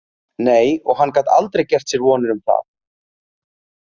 Nei, og hann gat aldrei gert sér vonir um það.